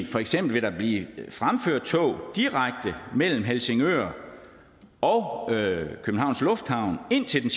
for eksempel blive fremført tog direkte mellem helsingør og københavns lufthavn indtil det